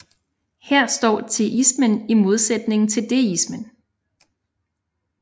Her står teismen i modsætning til deismen